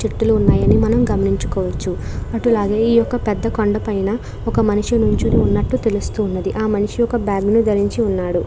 చెట్లు ఉన్నాయని మనం గమనించుకోవచ్చు అటులాగే ఈ యొక్క పెద్ద కొండ పైన ఒక మయినిషి నించుని ఉన్నట్టు తెలుస్తున్నది ఆ మనిషి ఒక బాగ్ ను ధరిచి ఉన్నాడు.